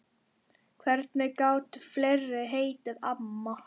Hvernig gátu fleiri heitið amma?